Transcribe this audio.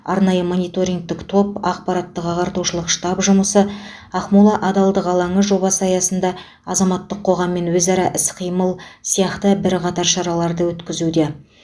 арнайы мониторингтік топ ақпараттық ағартушылық штаб жұмысы ақмола адалдық алаңы жобасы аясында азаматтық қоғаммен өзара іс қимыл сияқты бірқатар шараларды өткізуде